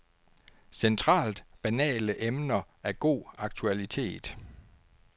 Centralt banale emner af god aktualitet.